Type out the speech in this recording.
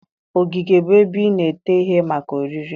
ogige bụ ebe ị na-ete ihe maka oriri